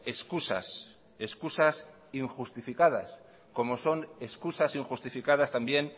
excusas excusas injustificadas como son excusas injustificadas también